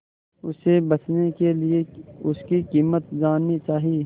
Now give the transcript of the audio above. उसे बचने के लिए उसकी कीमत जाननी चाही